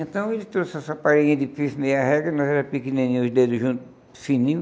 Então ele trouxe essa parede de piso meia régua, nós era pequenininho, os dedos juntos, fininho.